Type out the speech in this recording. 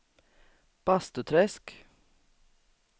Bastuträsk